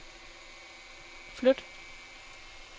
flyt